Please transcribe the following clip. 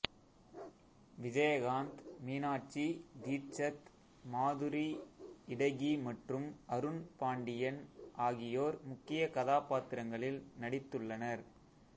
விஜயகாந்த் மீனாட்சி தீட்சத் மாதுரி இடகி மற்றும் அருண் பாண்டியன் ஆகியோர் முக்கிய கதாப்பாத்திரங்களில் நடித்துள்ளனர்